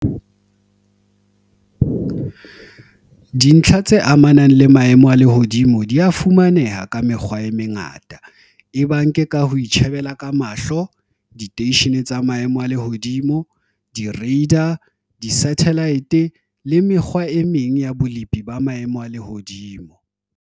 Dintlha tse amanang le maemo a lehodimo di a fumaneha ka mekgwa e mengata, ebang ke ka ho itjhebela ka mahlo, diteishene tsa maemo a lehodimo, di-radar, di-sathelaete le mekgwa e meng ya bolepi ba maemo a lehodimo.